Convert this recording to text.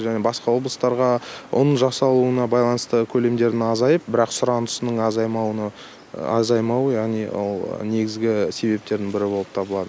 және басқа облыстарға ұн жасалуына байланысты көлемдердің азайып бірақ сұранысының азаймауы яғни ол негізгі себептердің бірі болып табылады